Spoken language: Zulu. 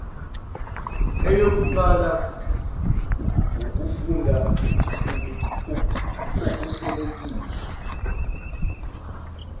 eyokuqala wukufunda okuhlelekile